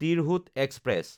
Tirhut express